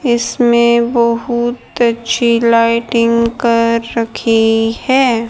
इसमें बहुत अच्छी लाइटिंग कर रखी है।